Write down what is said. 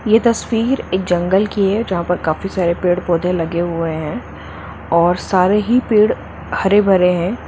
ये तस्वीर एक जंगल की है जहा पर काफी सारे पेड़ पौधे लगे हुए है और सारे ही पेड़ हरे भरे है।